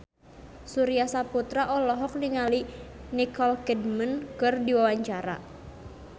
Surya Saputra olohok ningali Nicole Kidman keur diwawancara